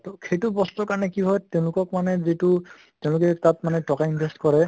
তʼ সেইটো বস্তুৰ কাৰণে কি হয় তেওঁলোকক মানে যিটো তেওঁলোকে তাত মানে টকা invest কৰে